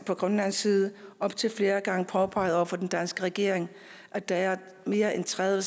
fra grønlands side op til flere gange påpeget over for den danske regering at der er mere end tredive